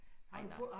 Nej nej